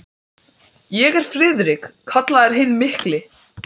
spyr Bjössi eftir að þeir hafa staðið þarna nokkra stund.